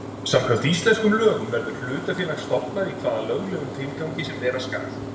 Samkvæmt íslenskum lögum verður hlutafélag stofnað í hvaða löglegum tilgangi sem vera skal.